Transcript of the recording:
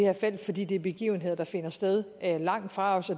felt fordi det er begivenheder der finder sted langt fra os